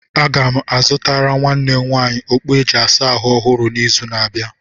M ga-azụtara nwanne m nwaanyị okpu e ji asa ahụ ọhụrụ n'izu n'abịa.